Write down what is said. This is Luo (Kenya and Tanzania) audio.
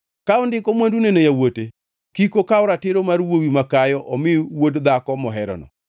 ka ondiko mwandune ne yawuote kik okaw ratiro mar wuowi makayo omi wuod dhako moherono.